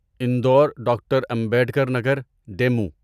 Indore doctor Ambedkar Nagar demo